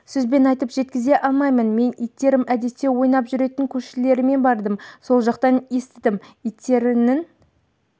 сөзбен айтып жеткізе алмаймын мен иттерім әдетте ойнап жүретін көршілеріме бардым сол жақтан естідім иттерінің